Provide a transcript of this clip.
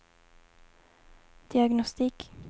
diagnostik